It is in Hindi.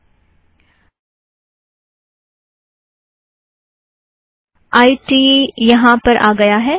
आई ट आइ टी यहाँ आ गया है